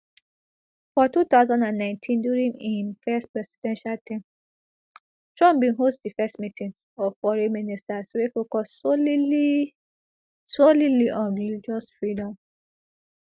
for two thousand and nineteen during im first presidential term trump bin host di first meeting of foreign ministers wey focus solely solely on religious freedom